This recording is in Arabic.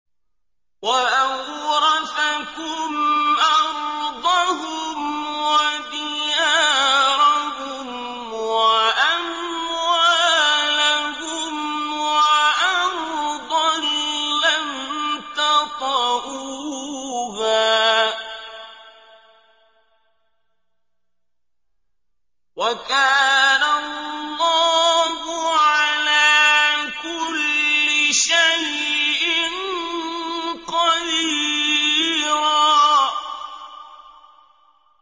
وَأَوْرَثَكُمْ أَرْضَهُمْ وَدِيَارَهُمْ وَأَمْوَالَهُمْ وَأَرْضًا لَّمْ تَطَئُوهَا ۚ وَكَانَ اللَّهُ عَلَىٰ كُلِّ شَيْءٍ قَدِيرًا